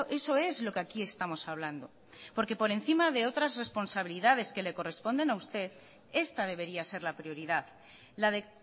eso es lo que aquí estamos hablando porque por encima de otras responsabilidades que le corresponden a usted esta debería ser la prioridad la de